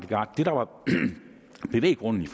det der var bevæggrunden